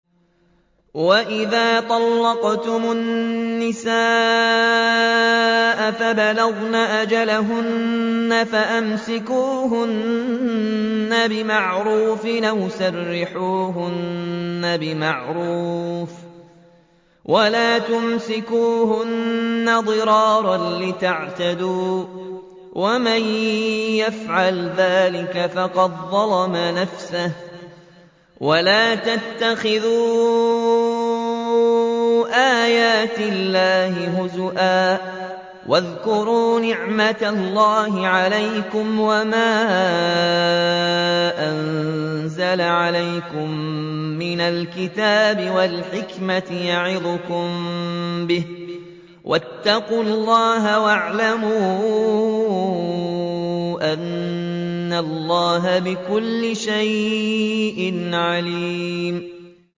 وَإِذَا طَلَّقْتُمُ النِّسَاءَ فَبَلَغْنَ أَجَلَهُنَّ فَأَمْسِكُوهُنَّ بِمَعْرُوفٍ أَوْ سَرِّحُوهُنَّ بِمَعْرُوفٍ ۚ وَلَا تُمْسِكُوهُنَّ ضِرَارًا لِّتَعْتَدُوا ۚ وَمَن يَفْعَلْ ذَٰلِكَ فَقَدْ ظَلَمَ نَفْسَهُ ۚ وَلَا تَتَّخِذُوا آيَاتِ اللَّهِ هُزُوًا ۚ وَاذْكُرُوا نِعْمَتَ اللَّهِ عَلَيْكُمْ وَمَا أَنزَلَ عَلَيْكُم مِّنَ الْكِتَابِ وَالْحِكْمَةِ يَعِظُكُم بِهِ ۚ وَاتَّقُوا اللَّهَ وَاعْلَمُوا أَنَّ اللَّهَ بِكُلِّ شَيْءٍ عَلِيمٌ